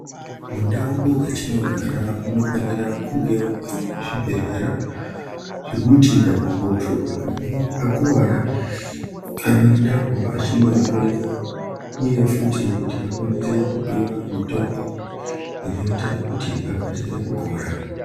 Mundau dzatinogara munofanira kunge womuine zvibhedhlera zvekuti munhu kana akange akuwara anoendako achinohloyiwa uye futi kuti akwanise kupiwa mutombo inoita kuti akasire kupora .